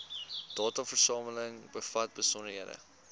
dataversameling bevat besonderhede